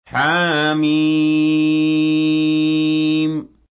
حم